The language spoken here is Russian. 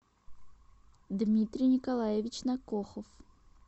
дмитрий николаевич накохов